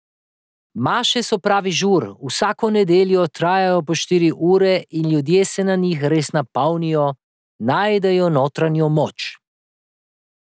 Maše so pravi žur, vsako nedeljo trajajo po štiri ure in ljudje se na njih res napolnijo, najdejo notranjo moč.